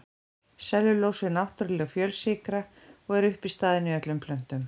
Sellulósi er náttúrleg fjölsykra og er uppistaðan í öllum plöntum.